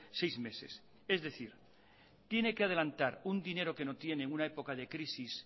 seis meses es decir tiene que adelantar un dinero que no tiene en una época de crisis